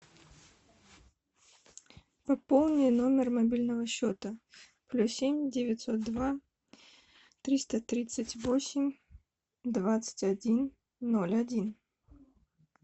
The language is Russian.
пополни номер мобильного счета плюс семь девятьсот два триста тридцать восемь двадцать один ноль один